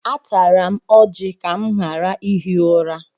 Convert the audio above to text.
Atara m ọjị ka m ghara ihi ụra.